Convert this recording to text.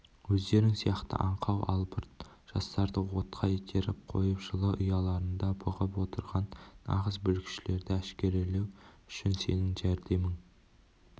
өздерің сияқты аңқау албырт жастарды отқа итеріп қойып жылы ұяларында бұғып отырған нағыз бүлікшілерді әшкерелеу үшін сенің жәрдемің